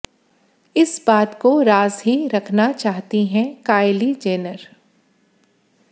इस बात को राज ही रखना चाहती हैं कायली जेनर